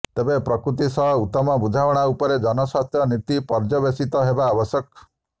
ତେବେ ପ୍ରକୃତି ସହ ଉତ୍ତମ ବୁଝାମଣା ଉପରେ ଜନସ୍ୱାସ୍ଥ୍ୟ ନୀତି ପର୍ଯ୍ୟବେସିତ ହେବା ଆବଶ୍ୟକ